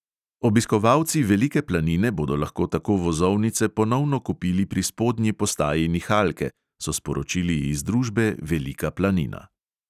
Obiskovalci velike planine bodo lahko tako vozovnice ponovno kupili pri spodnji postaji nihalke, so sporočili iz družbe velika planina.